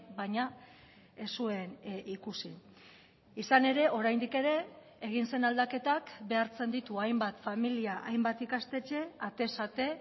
baina ez zuen ikusi izan ere oraindik ere egin zen aldaketak behartzen ditu hainbat familia hainbat ikastetxe atez ate